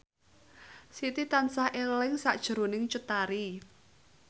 Siti tansah eling sakjroning Cut Tari